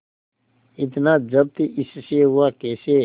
इतना जब्त इससे हुआ कैसे